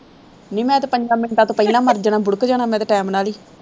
ਨਹੀਂ ਮੈਂ ਤਾਂ ਪੰਜਾਂ ਮਿੰਟਾਂ ਤੋਂ ਪਹਿਲਾਂ ਮਰ ਜਾਣਾ ਬੁੜਕ ਜਾਣਾ ਮੈਂ ਤਾਂ time ਨਾਲ ਹੀ